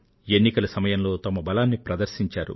ఎన్నికల సమయంలో తమ బలాన్ని ప్రదర్శించారు